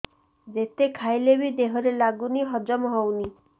ଯେତେ ଖାଇଲେ ବି ଦେହରେ ଲାଗୁନି ହଜମ ହଉନି